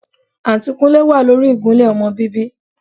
Àǹtí Kúnlé wà lórí ìgúnlẹ́ ọmọ bíbí